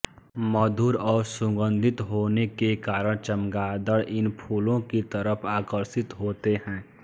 मधुर और सुगन्धित होने के कारण चमगादड़ इन फूलों की तरफ आकर्षित होते हैं